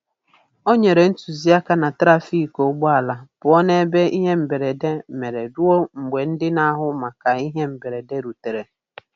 O nyere ntụziaka na trafiki ụgbọala pụọ n'ebe ihe mberede mere ruo mgbe ndị n'ahụ maka ihe mberede rutere.